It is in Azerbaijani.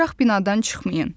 Qaçaraq binadan çıxmayın.